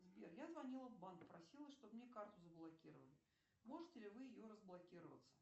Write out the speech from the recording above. сбер я звонила в банк просила чтобы мне карту заблокировали можете ли вы ее разблокировать